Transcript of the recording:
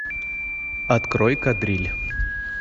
открой кадриль